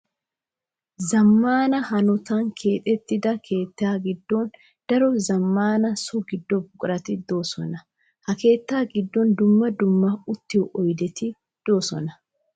Zamaana hanotan keexettidda keetta gidon daro zamaana so gido buquratti de'osonna. Ha keetta gidon dumma dumma uttiyo oyddetti de'osonna. .